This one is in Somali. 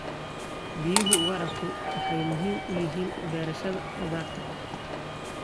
Biyaha waraabku waxay muhiim u yihiin beerashada khudaarta.